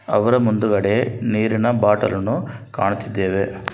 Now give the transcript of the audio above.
ಅವರ ಮುಂದುಗಡೆ ನೀರಿನ ಬಾಟಲ್ಲನ್ನು ಕಾಣುತ್ತಿದ್ದೇವೆ.